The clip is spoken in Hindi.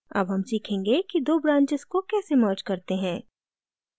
अब हम सीखेंगे कि दो branches को कैसे merge करते हैं